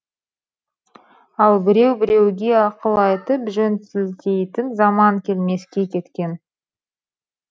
ал біреу біреуге ақыл айтып жөн сілтейтін заман келмеске кеткен